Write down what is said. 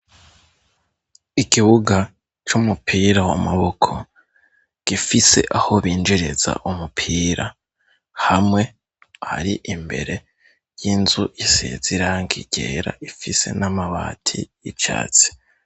Ikibuga c'umupira w'amaboko gifise aho binjiriza umupira hamwe, ari imbere y'inzu isize irangi ryera, ifise n'amabati y'icatsi.